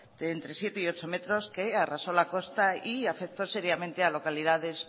entre siete y ocho metros que arrasó la costa y afectó seriamente a localidades